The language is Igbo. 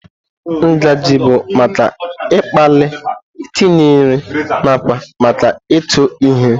Ngaji bụ maka ịkpali, itinye nri, nakwa maka ịtụ ihe.